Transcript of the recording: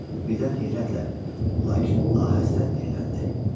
Birdən heyrətlə, lakin ahəstə dilləndi.